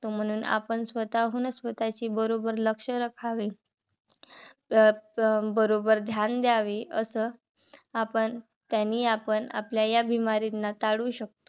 म्हणून आपण स्वताःहूनच स्वताःची बरोबर लक्ष राखावे. अह बरोबर ध्यान द्यावे. अस आपण त्यांनी आपण आपल्या या टाळू शकतो.